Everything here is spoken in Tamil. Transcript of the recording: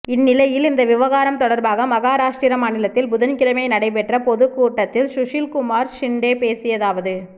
இந்நிலையில் இந்த விவகாரம் தொடர்பாக மகாராஷ்டிர மாநிலத்தில் புதன்கிழமை நடைபெற்ற பொதுக் கூட்டத்தில் சுஷில்குமார் ஷிண்டே பேசியதாவது